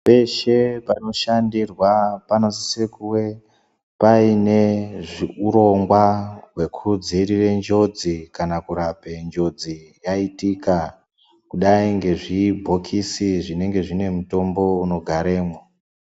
Peshe panoshandirwa panosise kunge paine hurongwa hwekudziirire njodzi kana kurape njodzi yaitika kudai ngezvibhokisi zvinenge zvine mutombo unogaremwo.